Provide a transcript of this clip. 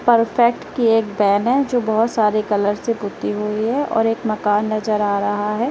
Perfect की एक van है जो बहुत सारे कलर से पुती हुई है और एक मकान नजर आ रहा है।